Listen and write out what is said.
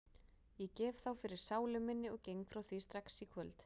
Ég gef þá fyrir sálu minni og geng frá því strax í kvöld.